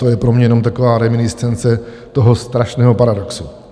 To je pro mě jenom taková reminiscence toho strašného paradoxu.